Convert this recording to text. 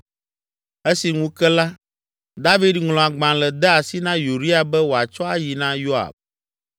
Esi ŋu ke la, David ŋlɔ agbalẽ de asi na Uria be wòatsɔ ayi na Yoab.